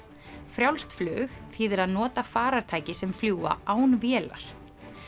frjálst flug þýðir að nota farartæki sem fljúga án vélar